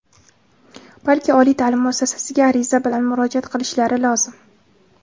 balki oliy ta’lim muassasasiga ariza bilan murojaat qilishlari lozim.